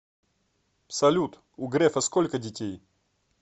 салют у грефа сколько детей